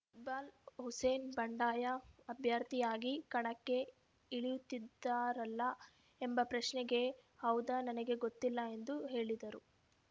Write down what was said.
ಇಕ್ಬಾಲ್‌ ಹುಸೇನ್‌ ಬಂಡಾಯ ಅಭ್ಯರ್ಥಿಯಾಗಿ ಕಣಕ್ಕೆ ಇಳಿಯುತ್ತಿದ್ದಾರಲ್ಲ ಎಂಬ ಪ್ರಶ್ನೆಗೆ ಹೌದಾ ನನಗೆ ಗೊತ್ತಿಲ್ಲ ಎಂದು ಹೇಳಿದರು